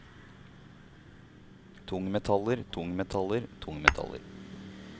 tungmetaller tungmetaller tungmetaller